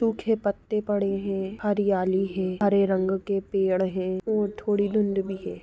सूखे पत्ते पड़े हैं हरियाली है हरे रंग के पेड़ है और थोड़ी धुंध भी है।